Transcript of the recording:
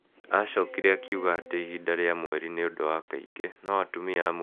Aacokire akiuga atĩ ihinda rĩa mweri nĩ ũndũ wa kaingĩ. No atumia amwe nĩ manyamarĩkaga mũno matekwaria.